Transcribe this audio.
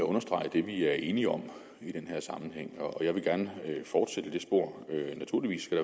at understrege det vi er enige om i den her sammenhæng og jeg vil gerne fortsætte i det spor naturligvis skal